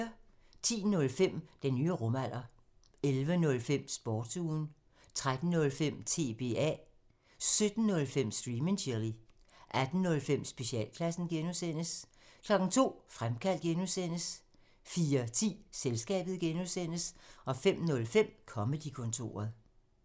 10:05: Den nye rumalder 11:05: Sportsugen 13:05: TBA 17:05: Stream and chill 18:05: Specialklassen (G) 02:00: Fremkaldt (G) 04:10: Selskabet (G) 05:05: Comedy-kontoret